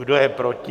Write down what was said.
Kdo je proti?